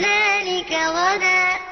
ذَٰلِكَ غَدًا